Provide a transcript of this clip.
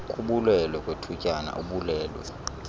kubulwelwe kwethutyana ubulwelwe